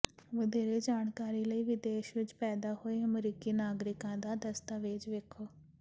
ਵਧੇਰੇ ਜਾਣਕਾਰੀ ਲਈ ਵਿਦੇਸ਼ ਵਿਚ ਪੈਦਾ ਹੋਏ ਅਮਰੀਕੀ ਨਾਗਰਿਕਾਂ ਦਾ ਦਸਤਾਵੇਜ਼ ਵੇਖੋ